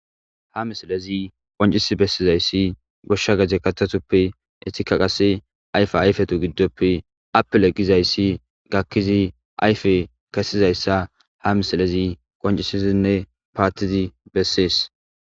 Ha misilezi qoncisi bessizayssi goshsha gezte katatuppe etika qase ayfa ayfetu giddoppe appeleqqizayssi gakkizi ayfe kesizayssa ha misilezi qoncisizinne paatizi bessees.